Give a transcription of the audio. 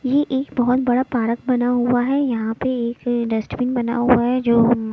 यह एक बहोत बड़ा पारक बना हुआ है यहां पे एक डस्टबिन बना हुआ है जो--